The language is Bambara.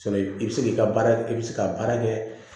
i bɛ se k'i ka baara kɛ i bɛ se ka baara kɛ